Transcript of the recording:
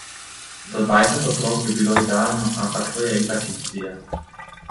Do dvajset otrok bi bilo idealno, ampak to je itak iluzija.